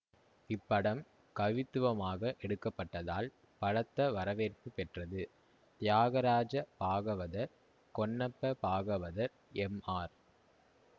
இப்படம் கவித்துவமாக எடுக்க பட்டதால் பலத்த வரவேற்பு பெற்றது தியாகராஜ பாகவதர் கொன்னப்ப பாகவதர் எம்ஆர்